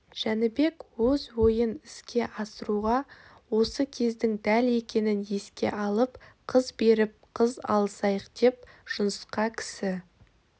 жәнібек өз ойын іске асыруға осы кездің дәл екенін еске алып қыз беріп қыз алысайық деп жұнысқа кісі